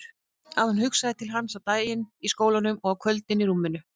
Að hún hugsaði til hans á daginn í skólanum og á kvöldin í rúminu.